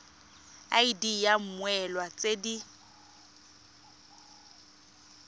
id ya mmoelwa tse di